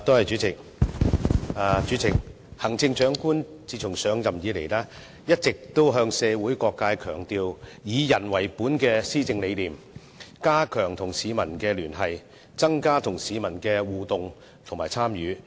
主席，行政長官自上任以來，一直向社會各界標榜以人為本的施政理念，加強與市民的聯繫，增加與市民的互動及強調市民的參與。